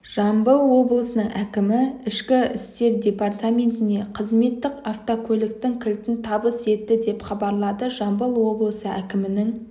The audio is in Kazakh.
жамбыл облысының әкімі ішкі істер департаментіне қызметтік автокөліктің кілтін табыс етті деп хабарлады жамбыл облысы әкімінің